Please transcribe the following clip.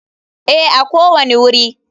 Ee, a kowane wuri.